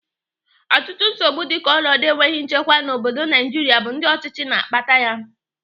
Ọtụtụ nsogbu dịka ọnọdụ enweghị nchekwa n'obodo Naijiria bụ ndị ọchịchị na-akpata yam